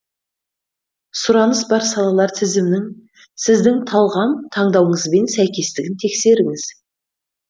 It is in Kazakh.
сұраныс бар салалар тізімінің сіздің талғам таңдауыңызбен сәйкестігін тексеріңіз